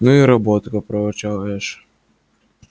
ну и работка проворчал эш